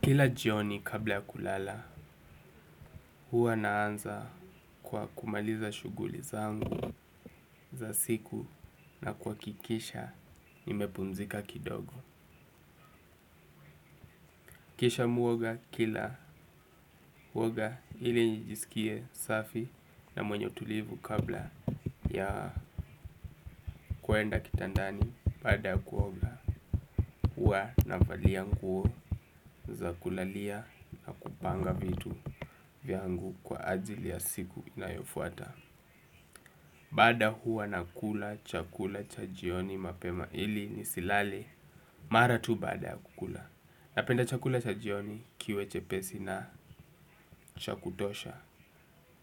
Kila jioni kabla ya kulala huwa naanza kwa kumaliza shughuli zangu za siku na kuhakikisha nimepumzika kidogo kisha mi huoga kila huoga ili nijisikie safi na mwenye utulivu kabla ya kwenda kitandani baada ya kuoga huwa navalia nguo za kulalia na kupanga vitu vyangu kwa ajili ya siku inayofuata baada huwa nakula chakula cha jioni mapema ili nisilale mara tu baada ya kukula napenda chakula cha jioni kiwe chepesi na chakutosha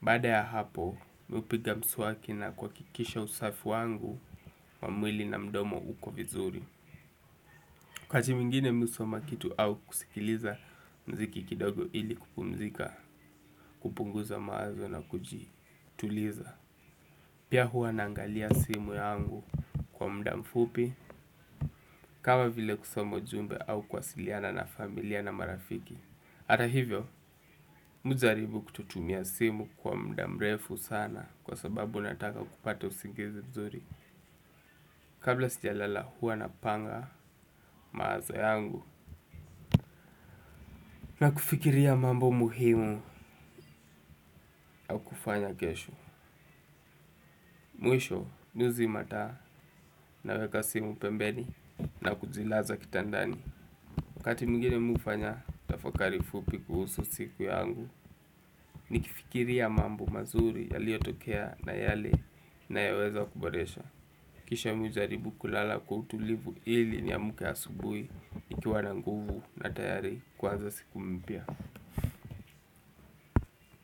baada ya hapo, mi hupiga mswaki na kuhakikisha usafi wangu wa mwili na mdomo uko vizuri wakati mwingine mi husoma kitu au kusikiliza muziki kidogo ili kupumzika kupunguza mawazo na kujituliza pia huwa naangalia simu yangu kwa muda mfupi kama vile kusoma ujumbe au kuwasiliana na familia na marafiki ata hivyo, mi hujaribu kutotumia simu kwa muda mrefu sana kwa sababu nataka kupata usingizi mzuri kabla sijialala huwa napanga mawazo yangu na kufikiria mambo muhimu au kufanya kesho mwisho, mi huzima taa naweka simu pembeni na kujilaza kitandani wakati mwingine mi hufanya, tafakari fupi kuhusu siku yangu nikifikiria mambo mazuri yaliyotokea na yale na yaweza kuboresha kisha mi hujaribu kulala kwa utulivu ili niamke asubui nikiwa na nguvu na tayari kwanza siku mpya.